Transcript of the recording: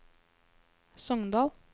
Sokndal